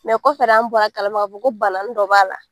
Mɛ kɔfɛ an bɔr'a kalama k'afɔ ko bananin dɔ b'a la.